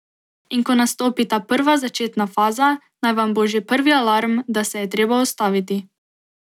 In ko nastopi ta prva začetna faza, naj vam bo že prvi alarm, da se je treba ustaviti.